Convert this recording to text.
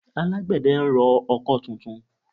Alágbẹ̀dẹ ń rọ ọkọ́ tuntun